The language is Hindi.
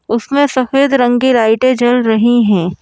उसमें सफेद रंग की लाइटें जल रही हैं।